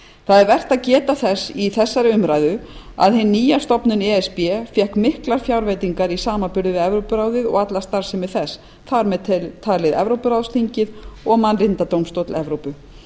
það er vert að geta þess í þessari umræðu að hin nýja stofnun e s b fékk miklar fjárveitingar í samanburði við evrópuráðið og alla starfsemi þess þar með talin evrópuráðsþingið og mannréttindadómstól evrópu